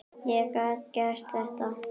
Ég gat gert þetta.